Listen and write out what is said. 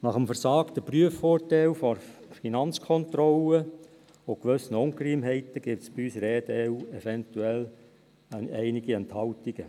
Nach dem «versagten» Prüfurteil der FK und gewissen Ungereimtheiten, gibt es bei uns eventuell einige Enthaltungen.